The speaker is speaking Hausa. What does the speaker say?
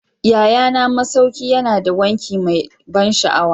Yayana masauki yana da wanki mai ban sha'awa